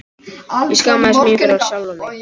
Ég skammaðist mín fyrir sjálfa mig.